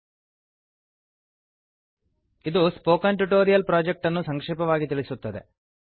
httpspoken tutorialorgವಾಟ್ is a spoken tutorial ಇದು spoken tutorial project ಅನ್ನು ಸಂಕ್ಷೇಪವಾಗಿ ತಿಳಿಸುತ್ತದೆ